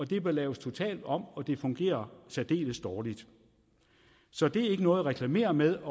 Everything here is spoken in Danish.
det bør laves totalt om og det fungerer særdeles dårligt så det er ikke noget at reklamere med